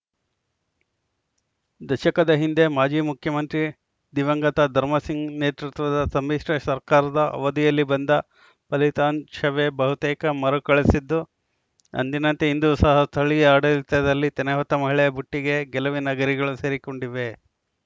ದಶಕದ ಹಿಂದೆ ಮಾಜಿ ಮುಖ್ಯಮಂತ್ರಿ ದಿವಂಗತ ಧರ್ಮಸಿಂಗ್‌ ನೇತೃತ್ವದ ಸಮ್ಮಿಶ್ರ ಸರ್ಕಾರದ ಅವಧಿಯಲ್ಲಿ ಬಂದ ಫಲಿತಾಂಶವೇ ಬಹುತೇಕ ಮರುಕಳಿಸಿದ್ದು ಅಂದಿನಂತೆ ಇಂದೂ ಸಹ ಸ್ಥಳೀಯ ಆಡಳಿತದಲ್ಲಿ ತೆನೆ ಹೊತ್ತ ಮಹಿಳೆ ಬುಟ್ಟಿಗೆ ಗೆಲುವಿನ ಗರಿಗಳು ಸೇರಿಕೊಂಡಿವೆ